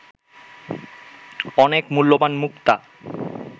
অনেক মূল্যবান মুক্তা